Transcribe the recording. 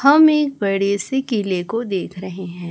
हम एक बड़े से केले को देख रहे हैं।